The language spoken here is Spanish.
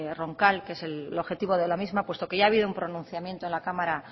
roncal que es el objetivo de la misma puesto que ya ha habido un pronunciamiento en la cámara